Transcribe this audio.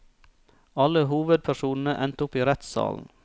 Alle hovedpersonene endte opp i rettssalen.